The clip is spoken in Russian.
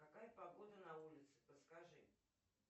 какая погода на улице подскажи